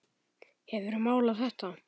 Hefurðu málað þetta?